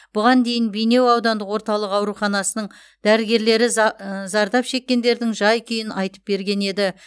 бұған дейін бейнеу аудандық орталық ауруханасының дәрігерлері за ы зардап шеккендердің жай күйін айтып берген еді